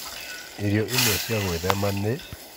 Irio imwe cia gwĩthema nĩ: